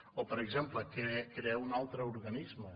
o per exemple crear un altre organisme